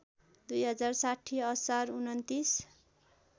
२०६० असार २९